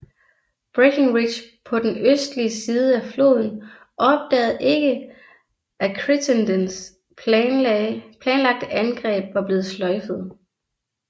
Breckinridge på den østlige side af floden opdagede ikke at Crittendens planlagte angreb var blevet sløjfet